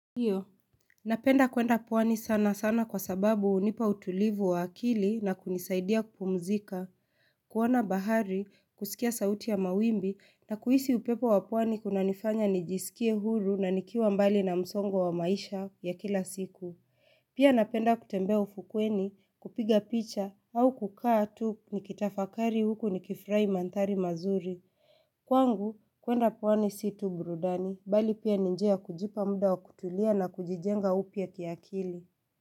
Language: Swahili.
Ndiyo, napenda kwenda pwani sana sana kwa sababu hunipa utulivu wa akili na kunisaidia kupumzika, kuona bahari, kusikia sauti ya mawimbi na kuhisi upepo wa pwani kunanifanya nijisikie huru na nikiwa mbali na msongo wa maisha ya kila siku. Pia napenda kutembea ufukweni, kupiga picha au kukaa tuu nikitafakari huku nikifurahi mandhari mazuri. Kwangu, kuenda pwani si tu burudani, bali pia ni njia ya kujipa muda wa kutulia na kujijenga upya kiakili.